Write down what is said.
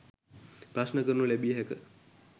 ප්‍රශ්න කරනු ලැබිය හැක